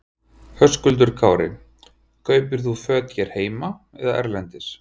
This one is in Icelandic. Höskuldur Kári: Kaupir þú fötin hér heima eða erlendis?